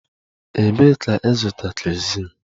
Ebee ka ịzụta kerosin?